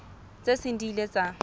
tse seng di ile tsa